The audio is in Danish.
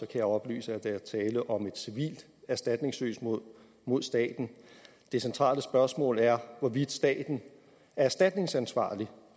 jeg oplyse at der er tale om et civilt erstatningssøgsmål mod staten det centrale spørgsmål er hvorvidt staten er erstatningsansvarlig